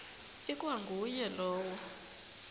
ikwa nguye lowo